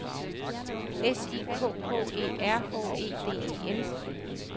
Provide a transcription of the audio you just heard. S I K K E R H E D E N